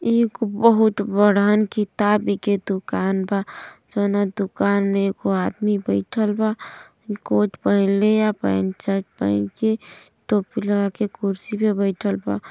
एगो बहूत बड़हन किताब की दुकान बा। जोना दुकान में एगो आदमी बैठल बा कोट पहिनले ह पेंट शर्ट पहिन के टोपी लगा के कुर्सी पे बईठल वा।